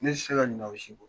Ne se ke ka ɲina o si kɔ.